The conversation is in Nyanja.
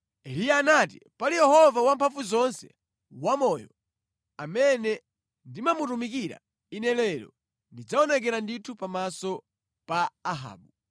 Eliya anati, “Pali Yehova Wamphamvuzonse wamoyo, amene ndimamutumikira, ine lero ndidzaonekera ndithu pamaso pa Ahabu.”